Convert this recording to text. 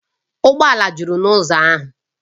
Ụgbọ ala juru n’ụzọ ahụ